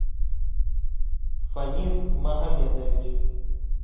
фанис магомедович